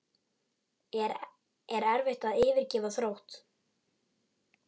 Er erfitt að yfirgefa Þrótt?